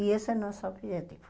E esse é o nosso objetivo.